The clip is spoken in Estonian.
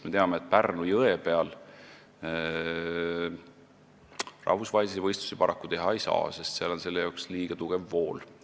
Me teame, et Pärnu jõe peal rahvusvahelisi võistlusi paraku teha ei saa, sest seal on liiga tugev vool.